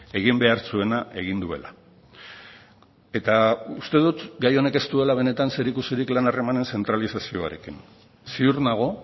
egin behar zuena egin duela eta uste dut gai honek ez duela benetan zerikusirik lan harremanen zentralizazioarekin ziur nago